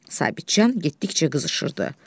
Sabitcan getdikcə qızışırdı.